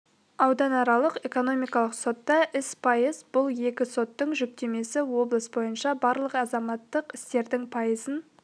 ауданаралық экономикалық сотта іс пайыз бұл екі соттың жүктемесі облыс бойынша барлық азаматтық істердің пайызын